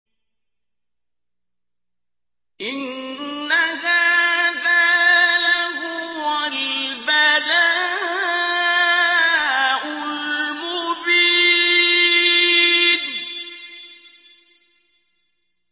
إِنَّ هَٰذَا لَهُوَ الْبَلَاءُ الْمُبِينُ